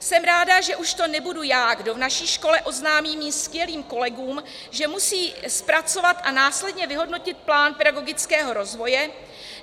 Jsem ráda, že už to nebudu já, kdo v naší škole oznámí mým skvělým kolegům, že musí zpracovat a následně vyhodnotit plán pedagogického rozvoje.